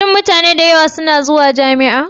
Shin mutane da yawa suna zuwa jami'a?